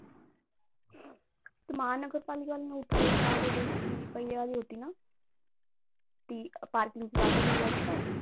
ती महानगरपालिकेवाल्यांनी उठवायच्या अगोदर ती ती पहिले वाली होती ना ती parking च्या जागेवर उभे राहायची पाय